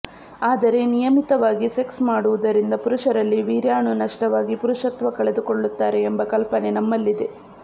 ಆದರೆ ನಿಯಮಿತವಾಗಿ ಸೆಕ್ಸ್ ಮಾಡುವುದರಿಂದ ಪುರುಷರಲ್ಲಿ ವೀರ್ಯಾಣು ನಷ್ಟವಾಗಿ ಪುರುಷತ್ವ ಕಳೆದುಕೊಳ್ಳುತ್ತಾರೆ ಎಂಬ ಕಲ್ಪನೆ ನಮ್ಮಲ್ಲಿದೆ